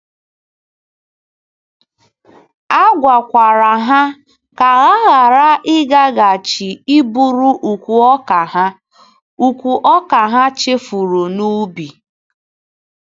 A gwakwara ha ka ha ghara ịgaghachi iburu ùkwù ọka ha ùkwù ọka ha chefuru n’ubi.